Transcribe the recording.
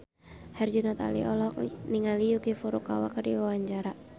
Herjunot Ali olohok ningali Yuki Furukawa keur diwawancara